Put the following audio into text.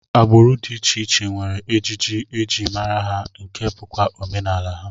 Agbụrụ dị iche iche nwere ejiji e ji mara ha nke bụkwa omenala ha